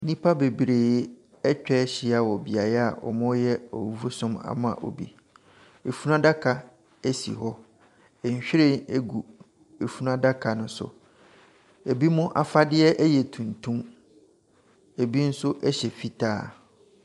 Nnipa bebree atwa ahyia wɔ beae a wɔreyɛ awufosom ama obi. Efunu adaka si hɔ. Nhwiren gu funu adaka no so. Ebi afadeɛ yɛ tuntum, ebi nso hyɛ fitaa.